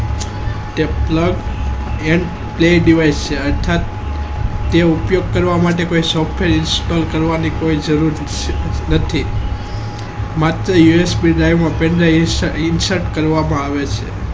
Plug And Play Device અર્થાત તે ઉપયોગ કરવા માટે કોઈ software Install કરવાની કોઈ જરૂર નથી માત્ર usbInsert કરવામાં આવે છે